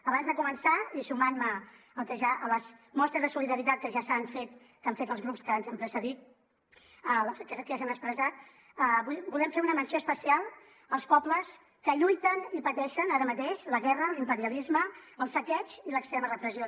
abans de començar i sumant me a les mostres de solidaritat que ja s’han fet que han fet els grups que ens han precedit que ja s’han expressat volem fer una menció especial als pobles que lluiten i pateixen ara mateix la guerra l’imperialisme el saqueig i l’extrema repressió